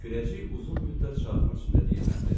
Kürəcik uzun müddət çarxın üstündə diyirləndi.